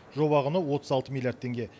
жоба құны отыз алты милллиард теңге